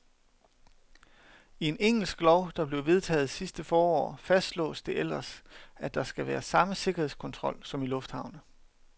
I en engelsk lov, der blev vedtaget sidste forår, fastslås det ellers, at der skal være samme sikkerhedskontrol som i lufthavne.